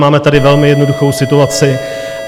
Máme tady velmi jednoduchou situaci.